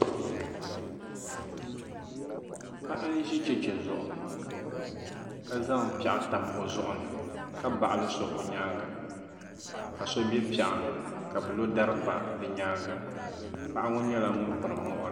paɣa n-ʒi cheche zuɣu ka zaŋ piɛɣu tam o zuɣu ni ka baɣili so o nyaaŋga ka so be piɛɣu ni ka bɛ lo dari pa bɛ nyaaŋga paɣa ŋɔ nyɛla ŋun piri muɣiri